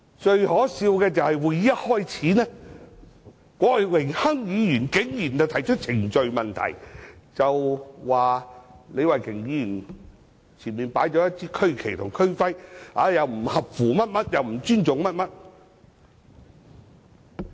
最可笑的是，會議一開始，郭榮鏗議員竟然提出規程問題，指李慧琼議員前面擺放了一支區旗及區徽，不合乎某些規定，也是不尊重等。